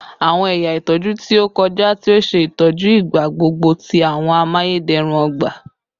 Awọn ẹya itọju ti o kọja ti o ṣe itọju igbagbogbo ti awọn amayederun ogba